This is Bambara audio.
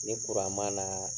Ni ma na